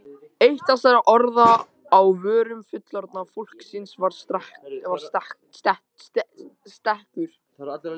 Eitt þessara orða á vörum fullorðna fólksins var stekkur.